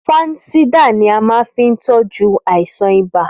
Fansidar là máa fi ń tọ́jú àìsàn ibà